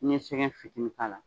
N'i ye sɛgɛn fitinin k'a la